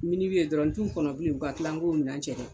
ye dɔrɔn n t'u kɔnɔ bilen u ka tila n k'o minɛn cɛ